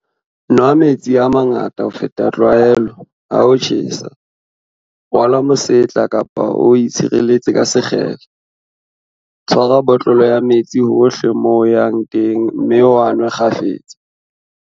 Nwa metsi a mangata ho feta tlwaelo, ha ho tjhesa. Rwala mosetla kapa o itshireletse ka sekgele. Tshwara botlolo ya metsi hohle moo o yang teng mme o a nwe kgafetsa.